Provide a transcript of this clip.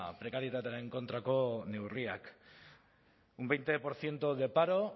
prekarietatearen kontrako neurriak un veinte por ciento de paro